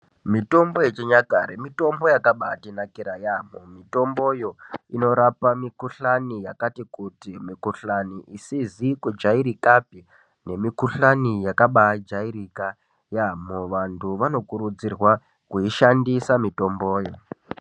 Mitombo yechinyakare mitombo yakabaatinakira yaampo mitomboyo inorapa mikhuhlaani yakati kuti mikhuhlani isizi kujairika pe nemukhuhlani yakabaa jairika yaamho vantu vanokurudzirwa kuishandisa mutomboyo.